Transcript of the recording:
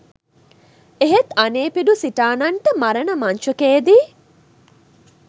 එහෙත් අනේපිඬු සිටානන්ට මරණ මංචකයේදී